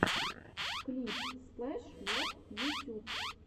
клип сплэш вот ютюб